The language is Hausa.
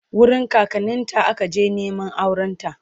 wurin kakanninta aka je Neman aurenta